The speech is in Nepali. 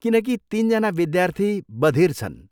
किनकि तिनजना विद्यार्थी बधिर छन्।